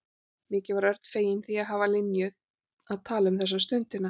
Mikið var Örn feginn því að hafa Linju að tala um þessa stundina.